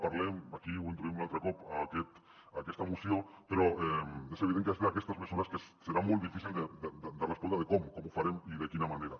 en parlem aquí ho introduïm un altre cop a aquesta moció però és evident que és d’aquestes mesures que serà molt difícil de respondre com com ho farem i de quina manera